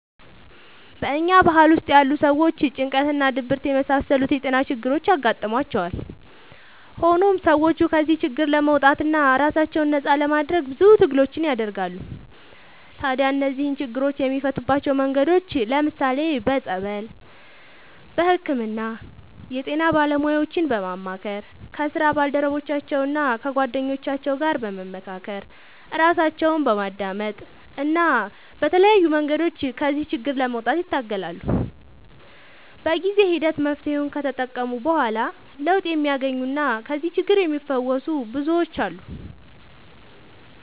በኛ ባህል ውስጥ ያሉ ሰዎች ጭንቀት እና ድብርት የመሳሰሉት የጤና ችግሮች ያጋጥሟቸዋል። ሆኖም ሰዎቹ ከዚህ ችግር ለመውጣትና ራሳቸውን ነፃ ለማድረግ ብዙ ትግሎችን ያደርጋሉ። ታዲያ እነዚህን ችግሮች የሚፈቱባቸው መንገዶች ለምሳሌ፦ በፀበል፣ በህክምና፣ የጤና ባለሙያዎችን በማማከር፣ ከስራ ባልደረቦቻቸው እና ከጓደኞቻቸው ጋር በመካከር፣ ራሳቸውን በማዳመጥ እና በተለያዩ መንገዶች ከዚህ ችግር ለመውጣት ይታገላሉ። በጊዜ ሂደት መፍትሔውን ከተጠቀሙ በኋላ ለውጥ የሚያገኙና ከዚህ ችግር የሚፈወሱ ብዙዎች አሉ።